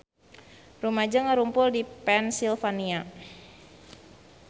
Rumaja ngarumpul di Pennsylvania